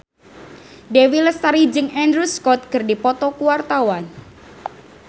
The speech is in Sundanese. Dewi Lestari jeung Andrew Scott keur dipoto ku wartawan